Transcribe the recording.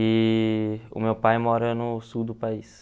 E o meu pai mora no sul do país.